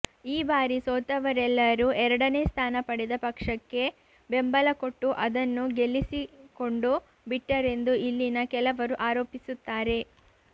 ಈ ಬಾರಿ ಸೋತವರೆಲ್ಲರೂ ಎರಡನೇ ಸ್ಥಾನ ಪಡೆದ ಪಕ್ಷಕ್ಕೆ ಬೆಂಬಲಕೊಟ್ಟು ಅದನ್ನು ಗೆಲ್ಲಿಸಿಕೊಂಡುಬಿಟ್ಟರೆಂದು ಇಲ್ಲಿನ ಕೆಲವರು ಆರೋಪಿಸುತ್ತಾರೆ